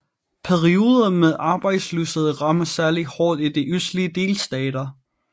Perioder med arbejdsløshed rammer særlig hårdt i de østlige delstater